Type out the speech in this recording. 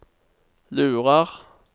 lurer